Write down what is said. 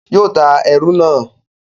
yóò ta ẹrù náà.